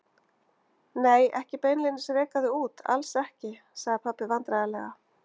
Nei, ekki beinlínis reka þig út, alls ekki, sagði pabbi vandræðalega.